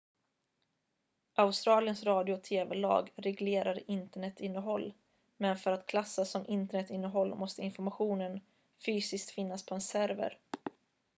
australiens radio- och tv-lag reglerar internetinnehåll men för att klassas som internetinnehåll måste informationen fysiskt finnas på en server